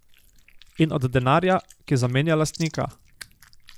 In od denarja, ki zamenja lastnika.